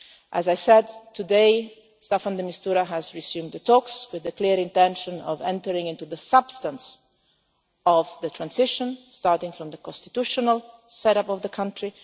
As I said today, Staffan de Mistura has resumed the talks with a clear intention of entering into the substance of the transition, starting from the constitutional set up of the